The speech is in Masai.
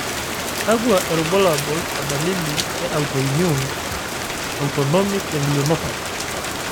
Kwakwa irbulabo o dalili e autoimmune autonomic ganglionopathy?